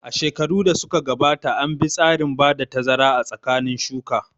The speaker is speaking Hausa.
A shekarun da suka gabata an bi tsarin bada tazara a tsakanin shuka